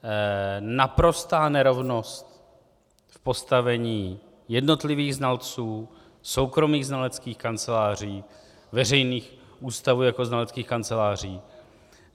Naprostá nerovnost v postavení jednotlivých znalců, soukromých znaleckých kanceláří, veřejných ústavů jako znaleckých kanceláří.